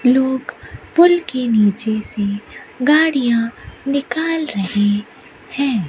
लोग पूल के नीचे से गाड़िया निकाल रहे है।